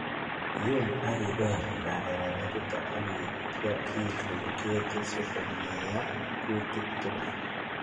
Iyum ak ibel balalenichuton ak ityo ilul ketit sikomeyo kutik tugul